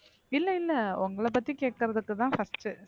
இல்ல இல்ல உங்களைப் பத்தி கேட்கறதுக்குத்தான் first உ